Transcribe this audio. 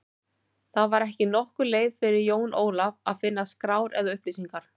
Það var ekki nokkur leið fyrir Jón Ólaf að finna skrár eða upplýsingar.